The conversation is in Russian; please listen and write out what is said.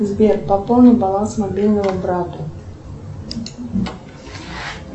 сбер пополни баланс мобильного брата